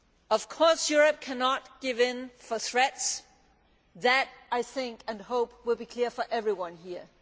Of course Europe cannot give in to threats that I think and hope will be clear to everyone here.